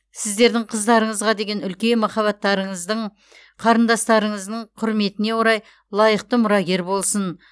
сіздердің қыздарыңызға деген үлкен махаббаттарыңыздың қарындастарыңыздың құрметіне орай лайықты мұрагер болсын